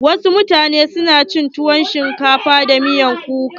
Wasu mutanen na cin tuwon shinkafa da miyar kuka.